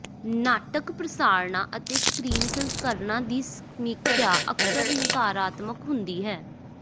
ਨਾਟਕ ਪ੍ਰਸਾਰਣਾਂ ਅਤੇ ਸਕ੍ਰੀਨ ਸੰਸਕਰਣਾਂ ਦੀ ਸਮੀਖਿਆ ਅਕਸਰ ਨਕਾਰਾਤਮਕ ਹੁੰਦੀ ਹੈ